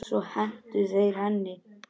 Svo hentu þeir henni.